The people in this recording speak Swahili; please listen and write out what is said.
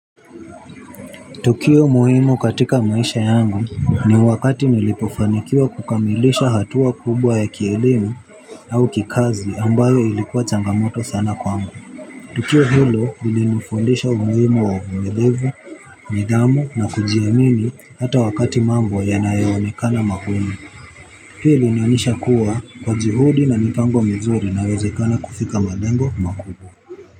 Tukio muhimu katika maisha yangu ni wakati nilipofanikiwa kukamilisha hatua kubwa ya kielimu au kikazi ambayo ilikuwa changamoto sana kwangu tukio hilo lilinifundisha umuhimu wa uvumilivu nidhamu na kujiamini hata wakati mambo yanayoonekana magumu hii ilinionyesha kuwa kwa juhudi na mipango mizuri nawezekana kufika malengo makubwa.